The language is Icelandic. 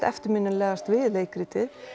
eftirminnilegast við leikritið